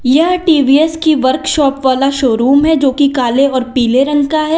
यह टी_वी_एस की वर्कशॉप वाला शोरूम है जो कि काले और पीले रंग का है।